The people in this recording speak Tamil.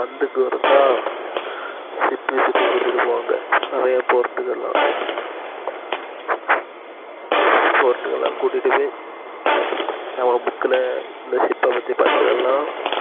வந்து tour கா கூட்டிட்டி போவாங்க நிறையா port கலா port லா கூட்டிட்டு போய் நம்ப book ல பத்தி படிக்கரத்துளா